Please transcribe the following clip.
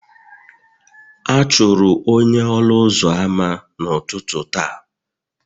A chụrụ onye ọnụ ụzọ ámá n'ụtụtụ taa